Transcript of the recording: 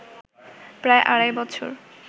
প্রায় আড়াই বছর